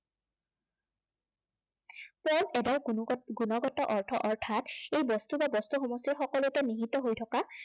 পদৰ কোনো গুণগত অৰ্থ, অৰ্থাত ই বস্তু বা বস্তু সমষ্টিৰ সকলোতে নীহিত হৈ থকা